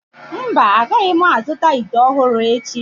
Mba, agaghị m azụta ite ọhụrụ echi.